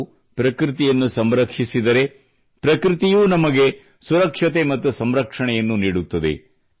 ನಾವು ಪ್ರಕೃತಿಯನ್ನು ಸಂರಕ್ಷಿಸಿದರೆ ಪ್ರಕೃತಿಯೂ ನಮಗೆ ಸುರಕ್ಷತೆ ಮತ್ತು ಸಂರಕ್ಷಣೆಯನ್ನು ನೀಡುತ್ತದೆ